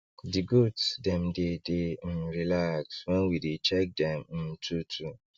the goat dem dey dey um relax when we dey check dem um two two